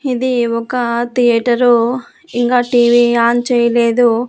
ఇది ఒక థియేటరు ఇంగా టీవీ ఆన్ చేయలేదు.